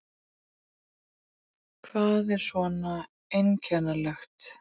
Hvað er svona einkennilegt?